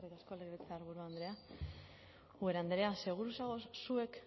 legebiltzarburu andrea ubera andrea seguru zagoz zuek